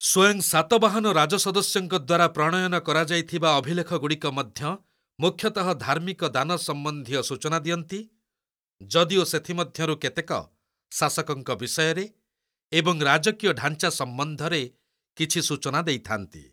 ସ୍ଵୟଂ ସାତବାହନ ରାଜସଦସ୍ୟଙ୍କ ଦ୍ୱାରା ପ୍ରଣୟନ କରାଯାଇଥିବା ଅଭିଲେଖଗୁଡ଼ିକ ମଧ୍ୟ ମୁଖ୍ୟତଃ ଧାର୍ମିକ ଦାନ ସମ୍ବନ୍ଧୀୟ ସୂଚନା ଦିଅନ୍ତି, ଯଦିଓ ସେଥି ମଧ୍ୟରୁ କେତେକ ଶାସକଙ୍କ ବିଷୟରେ ଏବଂ ରାଜକୀୟ ଢାଞ୍ଚା ସମ୍ବନ୍ଧରେ କିଛି ସୂଚନା ଦେଇଥାନ୍ତି।